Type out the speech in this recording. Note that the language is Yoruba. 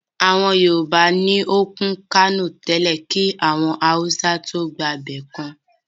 Àwọn Yorùbá ni òkún Kánò tẹ́lẹ́ kí àwọn Awùsá tóó gba ibẹ̀ kan